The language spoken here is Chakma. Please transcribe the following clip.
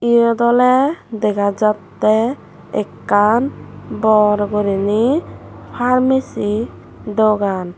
iyot oley dega jattey ekkan bor gurinei parmesi dogan.